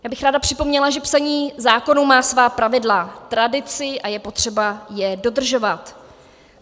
Já bych ráda připomněla, že psaní zákonů má svá pravidla, tradici a je potřeba je dodržovat.